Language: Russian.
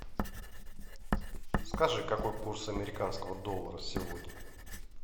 скажи какой курс американского доллара сегодня